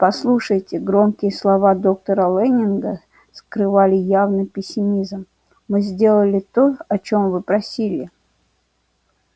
послушайте громкие слова доктора лэннинга скрывали явный пессимизм мы сделали то о чём вы просили